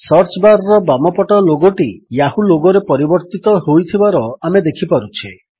search bar ର ବାମପଟ ଲୋଗୋଟି ୟାହୂ ଲୋଗୋରେ ପରିବର୍ତ୍ତିତ ହୋଇଥିବାର ଆମେ ଦେଖିପାରୁଛେ